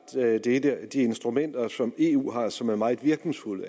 et af de instrumenter som eu har og som er meget virkningsfuldt